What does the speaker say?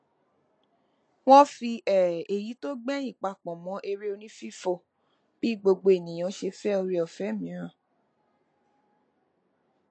wọn fi um èyí tó gbẹyìn papọ mọ eré onífífò bí gbogbo ènìyàn ṣe fẹ oore ọfẹ mìíràn